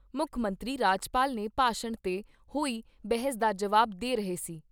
ਮੁੱਖ ਮੰਤਰੀ ਰਾਜਪਾਲ ਨੇ ਭਾਸ਼ਣ ਤੇ ਹੋਈ ਬਹਿਸ ਦਾ ਜਵਾਬ ਦੇ ਰਹੇ ਸੀ।